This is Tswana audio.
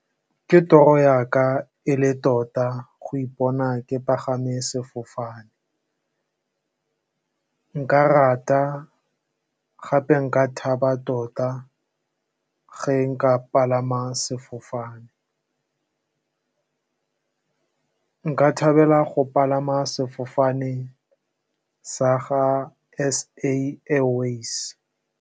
Ke toro ya ka e le tota go ipona, ke pagame sefofane. Nka rata gape, nka thaba tota ge nka palama sefofane, nka thabela go palama sefofane sa ga SA Airwaves.